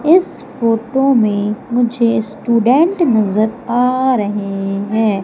इस फोटो में मुझे स्टूडेंट नजर आ रहे हैं।